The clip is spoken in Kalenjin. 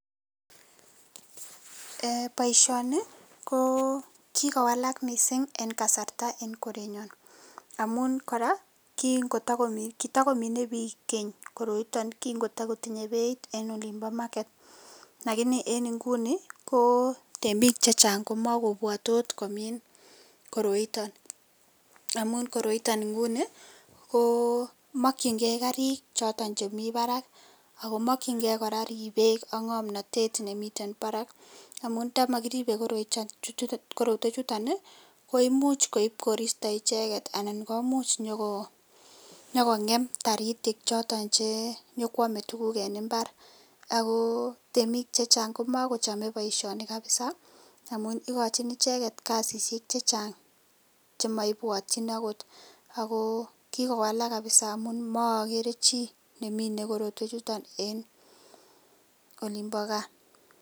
Baishoni ko kikowalak mising en kasarta en morenyon amun kora kingotakomin bik Keny koroiton kikotakotinye Beit en olimbo market lakini en inguni kobtemik Chechang komakobwate komin koroiton amun koroiton inguni ko making gei Karik choton mi Barak akomakin gei ribet AK ngamnatet nemiten Barak amun ntamakitibe koroiton koimuchi koib koristo icheket anan komuch konyokongem taritik choton Che nyokwame tuguk en imbar ako temik chechang komakochamda baishoni kabisa amun ikachi icheket kasisiek chechang chemaibwatin okot ako kikowalak kabisa amun marakeree chi nemine korotwek ichuton en olimbo Kaa